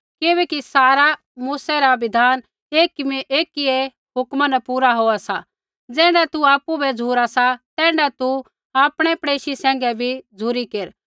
किबैकि सारा मूसै रा बिधान एकियै हुक्मा न पूरा होआ सा ज़ैण्ढा तू आपु बै झ़ुरा सा तैण्ढा तू आपणै पड़ेशी सैंघै बी झ़ुरी केर